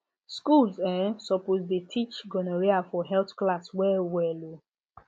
schools um suppose dey teach gonorrhea for health class well well um